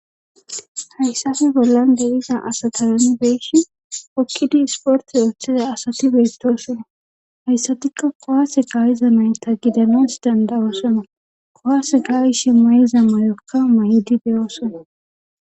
hayssappe bollan de'iza asata nu beel'ishin hokkidi sporti ooththiza asati beettosona hayssatikka kuwase ka'iza nayta gidanas dandawosona kuwase ka'ishi mayiza mayokka mayidi dey'oosona